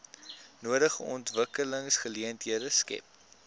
nodige ontwikkelingsgeleenthede skep